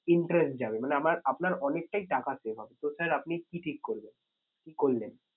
Interest যাবে মানে আমার আপনার অনেকটাই টাকা save হবে। তো sir আপনি কি ঠিক করলেন? কি করলেন?